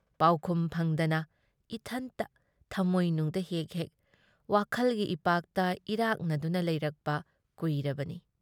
ꯄꯥꯎꯈꯨꯝ ꯐꯪꯗꯅ ꯏꯊꯟꯇ ꯊꯝꯃꯣꯏꯅꯨꯡꯗ ꯍꯦꯛ-ꯍꯦꯛ ꯋꯥꯈꯜꯒꯤ ꯏꯄꯥꯛꯇ ꯏꯔꯥꯛꯅꯗꯨꯅ ꯂꯩꯔꯛꯄ ꯀꯨꯏꯔꯕꯅꯤ ꯫